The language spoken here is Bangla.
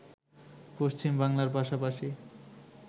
পশ্চিম বাংলার পাশাপাশি